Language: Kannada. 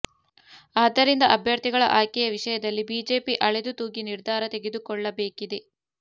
ಆದ್ದರಿಂದ ಅಭ್ಯರ್ಥಿಗಳ ಆಯ್ಕೆಯ ವಿಷಯದಲ್ಲಿ ಬಿಜೆಪಿ ಅಳೆದು ತೂಗಿ ನಿರ್ಧಾರ ತೆಗೆದುಕೊಳ್ಳಬೇಕಿದೆ